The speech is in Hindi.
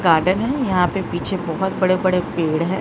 गार्डन है यहां पे पीछे बहुत बड़े बड़े पेड़ हैं।